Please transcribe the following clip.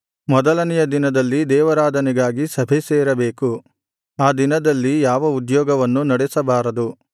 ಮೊದಲನೆಯ ದಿನದಲ್ಲಿ ದೇವಾರಾಧನೆಗಾಗಿ ಸಭೆಸೇರಬೇಕು ಆ ದಿನದಲ್ಲಿ ಯಾವ ಉದ್ಯೋಗವನ್ನು ನಡೆಸಬಾರದು